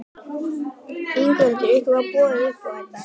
Ingveldur: Ykkur var boðið upp á þetta?